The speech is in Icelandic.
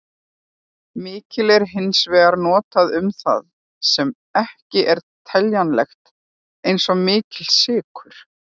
Mikill er hins vegar notað um það sem ekki er teljanlegt, eins og mikill sykur.